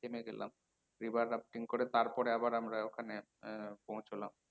river করে তারপরে আবার আমরা ওখানে আহ পৌঁছলাম।